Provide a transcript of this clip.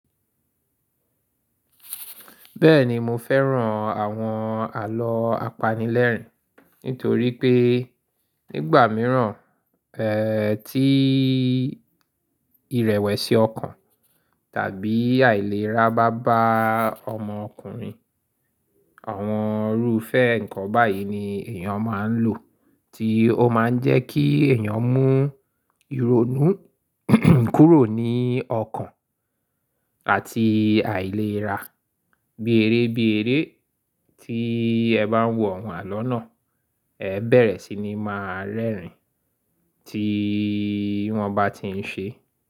Bẹ́ẹ̀ni mo fẹ́ran àwọn àlọ́ apanilẹ́rìn-ín, nítorí pé nígbà míràn, ẹ́ ti ìrẹ̀wẹ̀sì ọkàn tàbí àìlera bá báà ọmọ ọkùnrin, àwọn irúfẹ́ ǹkan báyìí ni èyàn máa ń lò, tí ó máa ń jẹ́ kí èyàn mú ìrònú kúrò ní ọkàn àti àìlera. Bí eré bí eré tí ẹ bá ń wo àwọn àlọ́ náà, ẹ bẹ̀rẹ̀ sí ní máa rẹ́rìn-ín tí wọ́n bá ti ń ṣe.